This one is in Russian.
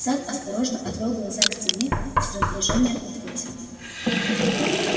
сатт осторожно отвёл глаза к стене и с раздражением ответил